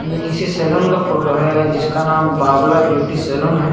ये किसी सेलून का फोटो है जिसका नाम बबला ब्यूटी सेलून हैं।